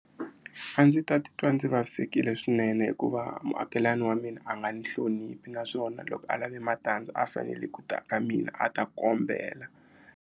A ndzi ta titwa ndzi vavisekile swinene hikuva muakelani wa mina a nga ni hloniphi naswona loko a lave matandza a fanele ku ta ka mina a ta kombela.